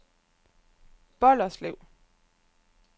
Bolderslev